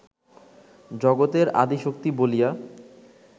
জগতের আদি শক্তি বলিয়া